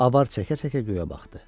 Avar çəkə-çəkə göyə baxdı.